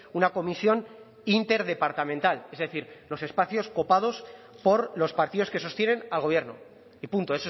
una comisión interdepartamental es decir los espacios copados por los partidos que sostienen al gobierno y punto